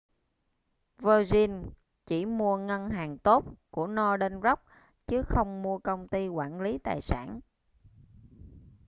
virgin chỉ mua ngân hàng tốt' của northern rock chứ không mua công ty quản lý tài sản